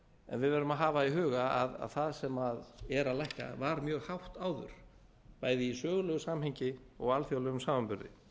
en við verðum að hafa í huga að það sem er að lækka var mjög hátt áður bæði í sögulegu samhengi og alþjóðlegum samanburði